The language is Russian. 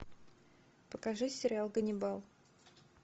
покажи сериал ганнибал